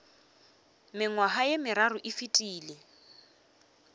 mengwaga ye meraro e fetile